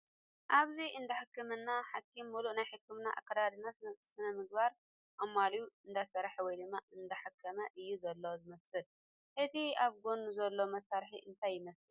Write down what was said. ኣብዚ እንዳህክምና ሓኪም ሙሉእ ናይ ሕክምና ኣከዳድና ስነ ምግባር ኣማሊኡ እንዳሰርሓ ወይ ድማ እንዳሓከመ እዩ ዘሎ ዝምስል ፡ እቲ ኣብ ጎድኑ ዘሎ መሳርሒ እንታይ ይመስል ?